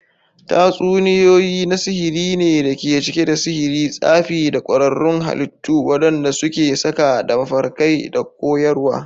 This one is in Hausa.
Tatsuniyoyi na sihiri ne da ke cike da sihiri, tsafi, da ƙwararrun halittu waɗanda suke saƙa da mafarkai da koyarwa.